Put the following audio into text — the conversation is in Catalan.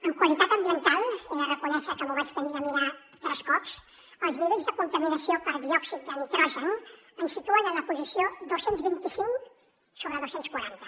en qualitat ambiental he de reconèixer que m’ho vaig haver de mirar tres cops els nivells de contaminació per diòxid de nitrogen ens situen en la posició dos cents i vint cinc sobre dos cents i quaranta